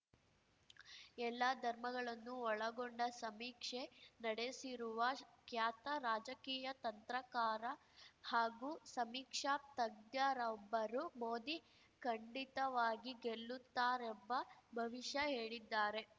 ಎಲ್ಲಾ ಧರ್ಮಗಳನ್ನೂ ಒಳಗೊಂಡ ಸಮೀಕ್ಷೆ ನಡೆಸಿರುವ ಖ್ಯಾತ ರಾಜಕೀಯ ತಂತ್ರಗಾರ ಹಾಗೂ ಸಮೀಕ್ಷಾ ತಜ್ಞರೊಬ್ಬರು ಮೋದಿ ಖಂಡಿತವಾಗಿ ಗೆಲ್ಲುತ್ತಾರೆಂಬ ಭವಿಷ್ಯ ಹೇಳಿದ್ದಾರೆ